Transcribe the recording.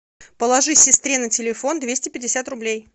положи сестре на телефон двести пятьдесят рублей